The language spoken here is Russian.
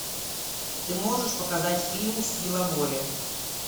ты можешь показать фильм сила воли